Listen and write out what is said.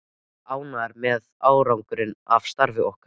Ég er ánægður með árangurinn af starfi okkar.